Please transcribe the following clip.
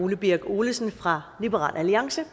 ole birk olesen fra liberal alliance